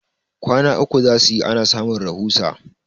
kwana uku za su yi ana samun rahusa